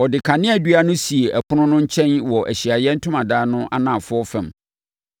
Ɔde kaneadua no sii ɛpono no nkyɛn wɔ Ahyiaeɛ Ntomadan no anafoɔ fam.